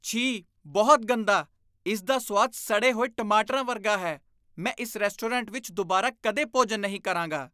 ਛੀ! ਬਹੁਤ ਗੰਦਾ! ਇਸ ਦਾ ਸੁਆਦ ਸੜੇ ਹੋਏ ਟਮਾਟਰਾਂ ਵਰਗਾ ਹੈ, ਮੈਂ ਇਸ ਰੈਸਟੋਰੈਂਟ ਵਿੱਚ ਦੁਬਾਰਾ ਕਦੇ ਭੋਜਨ ਨਹੀਂ ਕਰਾਂਗਾ।